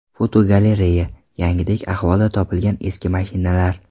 Fotogalereya: Yangidek ahvolda topilgan eski mashinalar.